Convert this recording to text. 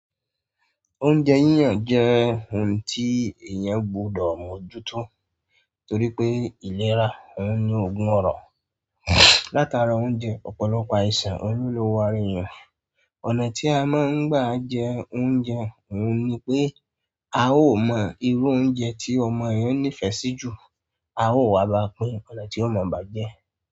Oúnjẹ yíyan jẹ́ ohun tí èèyàn gbọdọ̀ mójútó torí pé ìlera òun ní ogún ọrọ̀. Látara oúnjẹ, ọ̀pọ̀lọpọ̀ àìsàn olúlo wá rí èèyàn. Ọ̀nà tí a máa ń gbà jẹ oúnjẹ òun ni pé a ó mọ irú oúnjẹ tí ọmọ èèyàn nífẹ̀ẹ́ sí jù, a ó wà bá pín ọnà tí ó mọ̀ọ́ bà jẹ́.